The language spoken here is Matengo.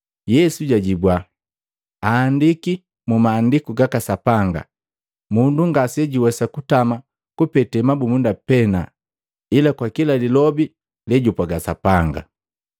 Yesu jajibua, “Aandiki mu Maandiku gaka Sapanga, ‘Mundu ngasejuwesa kutama kupete mabumunda pena, ila kwa kila lilobi lejupwaga Sapanga.’ ”